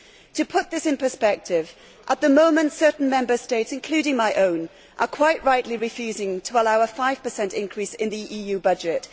To put this in perspective, at the moment certain Member States, including my own, are quite rightly refusing to allow a 5 increase in the EU budget.